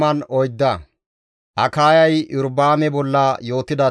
He wode Iyorba7aame naa Abiyay hargides.